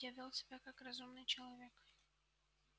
я вёл себя как разумный человек